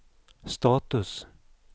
status